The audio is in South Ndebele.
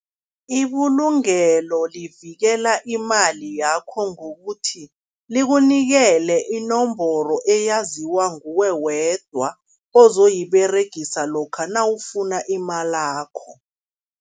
Ibulungelo livikela imali yakho ngokuthi likunikele inomboro eyaziwa nguwe wedwa ozoyiberegisa lokha nawufuna imalakho.